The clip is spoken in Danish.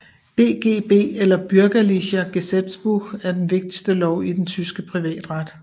BGB eller Bürgerliches Gesetzbuch er den vigtigste lov i den tyske privatret